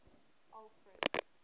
alfred